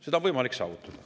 Seda on võimalik saavutada.